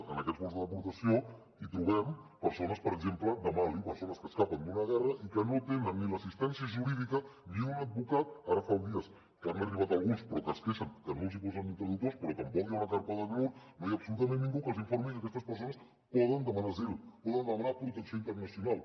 en aquests vols de deportació hi trobem persones per exemple de mali persones que escapen d’una guerra i que no tenen ni l’assistència jurídica ni un advocat ara fa uns dies que n’han arribat alguns però que es queixen que no els posen ni traductors però tampoc hi ha una carpa d’acnur no hi ha absolutament ningú que els informi que aquestes persones poden demanar asil poden demanar protecció internacional